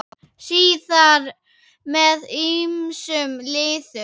Síðar með ýmsum liðum.